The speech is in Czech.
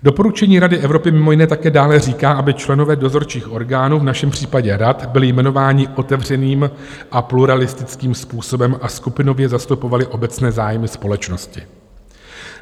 Doporučení Rady Evropy mimo jiné také dále říká, aby členové dozorčích orgánů, v našem případě rad, byli jmenováni otevřeným a pluralistickým způsobem a skupinově zastupovali obecné zájmy společnosti.